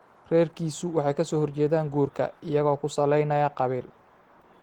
Reerkiisu waxay ka soo horjeesteen guurka iyagoo ku salaynaya qabiil.